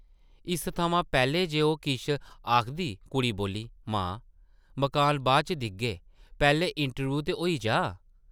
इस थमां पैह्लें जे ओह् किश आखदी कुड़ी बोल्ली, ‘‘मां, मकान बाद च दिखगे, पैह्लें इंटरव्यूह् ते होई जाऽ ।’’